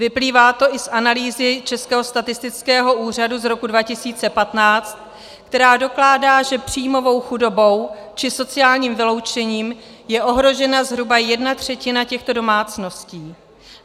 Vyplývá to i z analýzy Českého statistického úřadu z roku 2015, která dokládá, že příjmovou chudobou či sociálním vyloučením je ohrožena zhruba jedna třetina těchto domácností.